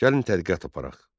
Gəlin tədqiqat aparaq.